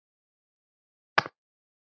Megi minning hennar lengi lifa.